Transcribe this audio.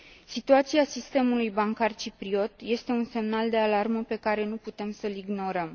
Situația sistemului bancar cipriot este un semnal de alarmă pe care nu putem să l ignorăm.